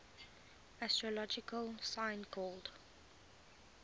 astrological sign called